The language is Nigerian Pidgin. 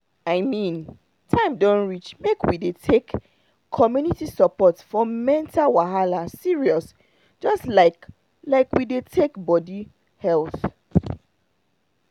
i mean time don reach make we dey take community support for mental wahala serious just like like we dey take body health.